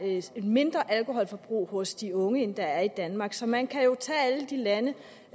er et mindre alkoholforbrug hos de unge end der er i danmark så man kan jo tage alle de lande